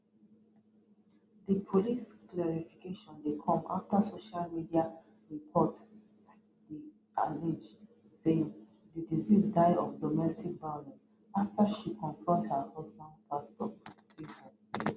di police clarification dey come afta social media reports dey allege say di deceased die of domestic violence afta she confront her husband pastor favour